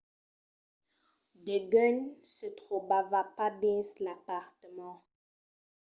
degun se trobava pas dins l'apartament